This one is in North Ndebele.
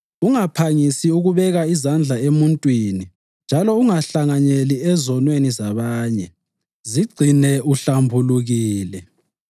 Ungaphangisi ukubeka izandla emuntwini njalo ungahlanganyeli ezonweni zabanye. Zigcine uhlambulukile.